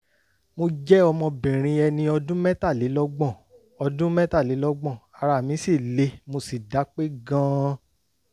mo jẹ́ ọmọbìnrin ẹni ọdún mẹ́tàlélọ́gbọ̀n ọdún mẹ́tàlélọ́gbọ̀n ara mí le mo sì dápé gan-an